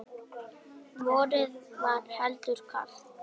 Vorið var heldur kalt.